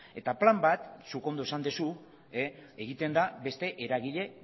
eta plan bat zuk ondo esan duzu egiten da beste eragile